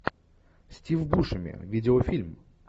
стив бушеми видеофильм